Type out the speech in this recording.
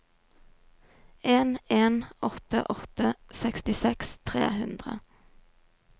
en en åtte åtte sekstiseks tre hundre